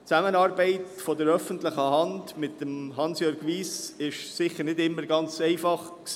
Die Zusammenarbeit der öffentlichen Hand mit Hansjörg Wyss war sicher nicht immer ganz einfach.